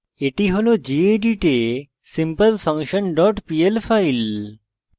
এটি হল gedit এ simplefunction dot pl file